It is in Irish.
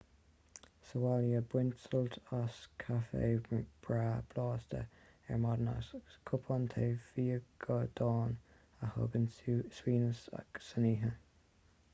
sa bhaile bain sult as caifé breá blasta ar maidin agus cupán tae fíogadáin a thugann suaimhneas san oíche